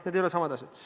Need ei ole samad asjad.